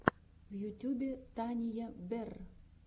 в ютюбе тания берр